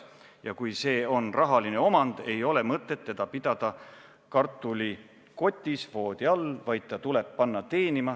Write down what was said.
Ja kui see on rahaline omand, ei ole mõtet teda pidada kartulikotis voodi all, vaid ta tuleb panna teenima.